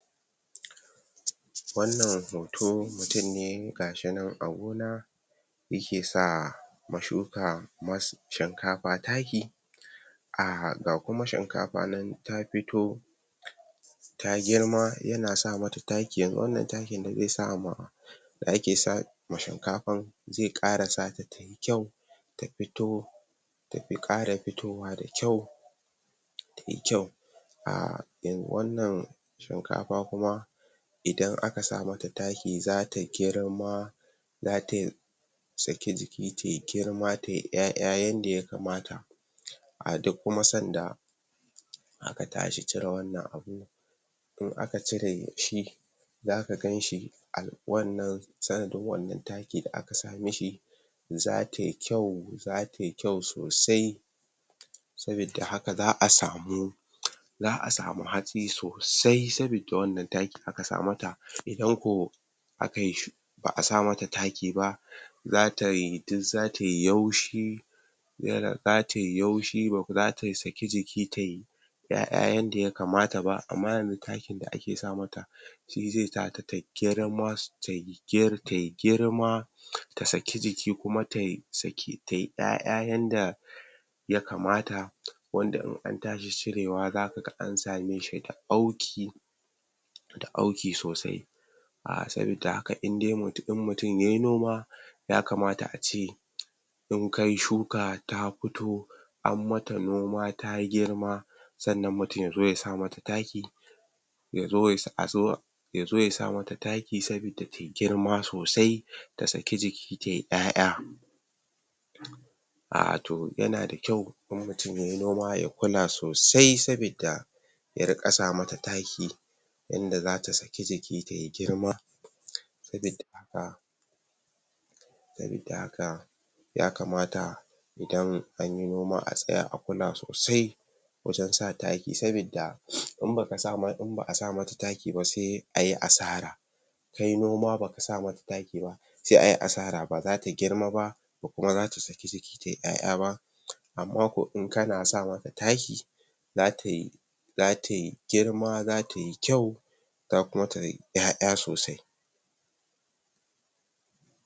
Wannan hoto mutum ne ga shi nan a gona yake sa ma shuka, shinkafa, taki um ga kuma shinkafa nan ta fito ta girma, yana sa mata taki. Yanzu wannan takin da zai sa ma ake sa ma shinkafar, zai ƙara sa ta ta yi kyau ta fito, ta fi ƙara fitowa da kyau ta yi kyau Wannan shinkafa kuma idan aka sa mata taki, za ta girma za ta saki jiji, ta yi girma, ta yi ƴaƴa yanda ya kamata a duk kuma sanda aka tashi cire wannan abun in aka cire shi za ka gan shi, wannan, sanadin wannan takin da aka sa mishi za ta yi kyau, za ta yi kyau sosai sabida haka za a samu hatsi sosai saboda wannan takin da aka sa mata. Idan ko ba a sa mata taki ba, za ta yi yaushi za ta yi yaushi, ba za ta saki jiki ta yi ƴaƴa yadda ya kamata ba amma yanzu takin da ake sa mata shi zai sa ta ta girma, ta yi girma, ta saki jiki kuma ta saki ƴaƴa yanda ya kamata wanda in an tashi cirewa za ka ga an same shi da auki da auki sosai um saboda haka in dai mutum ya yi noma ya kamata a ce in kai shuka ta fito an mata noma, ta girma sannan mutum ya zo ya mata taki ya zo ya, a zo, ya zo ya sa mata taki saboda girma, ta saki jiki ta yi ƴaƴa um to yana da kyau in mutum ya yi noma ya kula sosai saboda ya riƙa sa mata taki yanda za ta saki jiki ta yi girma saboda haka ya kamata idan an yi noma a tsaya a kula sosai wajen sa taki sabodain ba a sa mata taki ba, sai a yi asara ka yi noma ba ka sa mata taki ba sai a yi asara, ba za ta girma ba ba kuma za ta saki jiki ta yi ƴaƴa ba, amma kuwa in kana sa mata taki za ta yi za ta yi girma, za ta yi kyau za kuma ta yi ƴaƴa sosai.